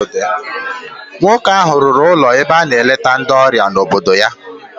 Nwoke ahụ rụrụ ụlọ ebe a na-eleta ndị ọrịa n'obodo ya.